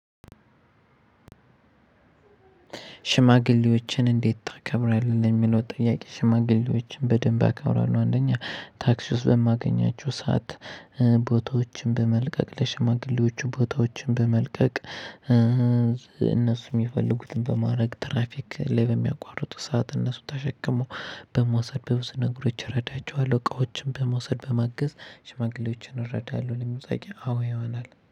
ሽማግሌዎችን እንዴት ታከብራለህ? የሚለው ጥያቄ ሽማግሌዎችን በደንብ አከብራለሁ። አንደኛ ታክሲ ውስጥ በማገኛቸው ሰዓት እ ቦታዎችን በመልቀቅ ለሽማግሌዎቹ ቦታዎችን በመልቀቅ። እ እነሱ የሚፈልጉትን በማድረግ ትራፊክ ላይ በሚያቋርጡ ሰዓት እነሱን ተሸክመው በመውሰድ በብዙ ነግሮች እረዳቸዋለሁ። እቃዎችን በመውሰድ በማገዝ ሽማግሌዎችን እረዳለሁ። ለመውጣት አዎ ይሆናል